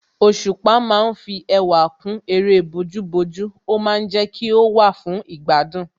Òṣùpá ma ń fi ẹwà kún eré bójú bójú ó ma ń jẹ́ kí ó wà fún ìgbádùn